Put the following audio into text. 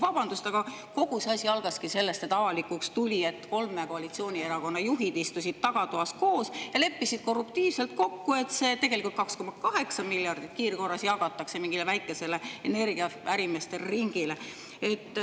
Vabandust, aga kogu see asi algaski sellest, et avalikuks tuli, et kolme koalitsioonierakonna juhid istusid tagatoas koos ja leppisid korruptiivselt kokku, et tegelikult see 2,8 miljardit kiirkorras jagatakse mingile väikesele energiaärimeeste ringile.